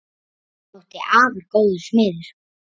Hann þótti afar góður smiður.